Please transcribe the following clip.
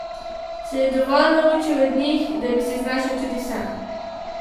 Se je dovolj naučil od njih, da bi se znašel tudi sam?